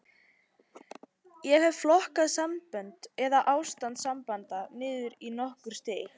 Ég hef flokkað sambönd, eða ástand sambanda, niður í nokkur stig.